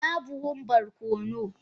ina buhun barkono?